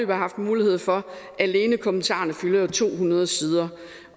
har haft mulighed for alene kommentarerne fylder jo to hundrede sider